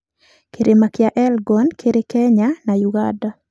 Kĩrĩma kĩa Elgon kĩrĩ Kenya na Uganda.